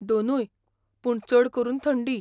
दोनूय. पूण चड करून थंडी.